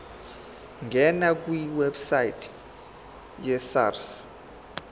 ngena kwiwebsite yesars